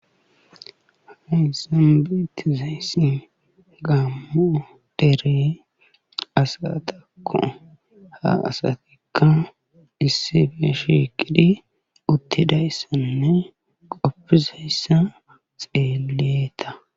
Hayssi beetizayti gaamo dere asatakk ha asatikka issippe shiiqidi uttidayssinne qofizayssa xeeleta.